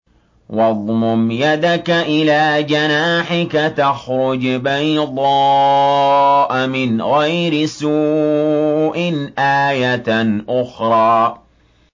وَاضْمُمْ يَدَكَ إِلَىٰ جَنَاحِكَ تَخْرُجْ بَيْضَاءَ مِنْ غَيْرِ سُوءٍ آيَةً أُخْرَىٰ